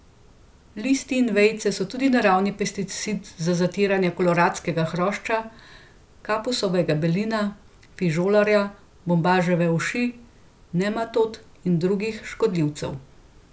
Listi in vejice so tudi naravni pesticid za zatiranje koloradskega hrošča, kapusovega belina, fižolarja, bombaževe uši, nematod in drugih škodljivcev.